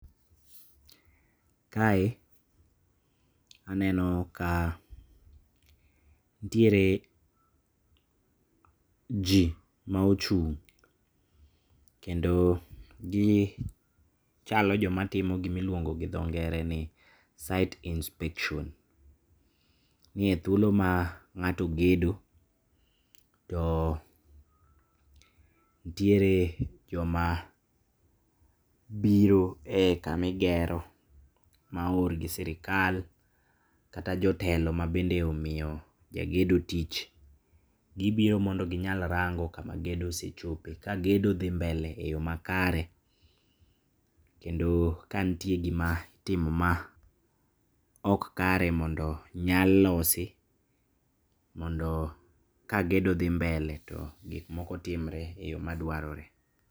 Kae aneno ka ntiere ji maochung' kendo gichalo jomatimo gima iluongo gi dho ngere ni site inspection. Niye thuolo ma ng'ato ogedo to ntiere joma biro e kama igero maoor gi sirikal kata jotelo mabende omiyo jagedo tich. Gibiro mondo ginyal rango kama gedo osechope, kagedo dhi mbele e yo makare, kendo kantie gima itimo ma ok kare mondo nyal losi mondo kagedo dhi mbele to gikmoko timre e yo madwarore.